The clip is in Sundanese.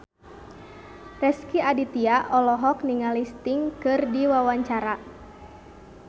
Rezky Aditya olohok ningali Sting keur diwawancara